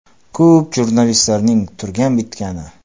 Ko‘plab jurnalistlarning turgan bitgani #####.